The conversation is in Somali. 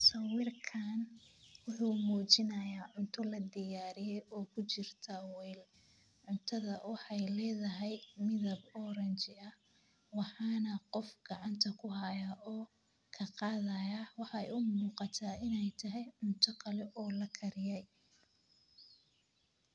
Sawirkan wuxuu muujinayaa cunto la diyaariyey oo ku jirta weel cuntada waaxay leedahay midab orange ah waxaana qofk gacanta kuhaya oo ka qadaya waxaa umuqata inay tahay cunto kale oo lakariyey.